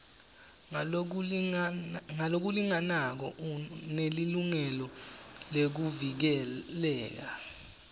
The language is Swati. ngalokulinganako unelilungelo lekuvikeleka